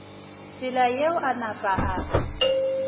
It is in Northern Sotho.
tsela yeo a napa a